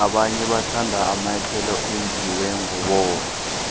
abantu bathanda amanyathelo enziwe nqoboya